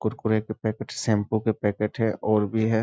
कुरकुरे के packet shampoo packet है और भी है |